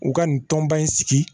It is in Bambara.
U ka nin tɔnba in sigi